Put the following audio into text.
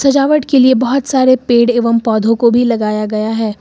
सजावट के लिए बहोत सारे पेड़ एवं पौधों को भी लगाया गया है।